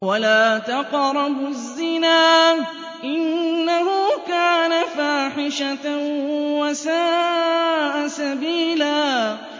وَلَا تَقْرَبُوا الزِّنَا ۖ إِنَّهُ كَانَ فَاحِشَةً وَسَاءَ سَبِيلًا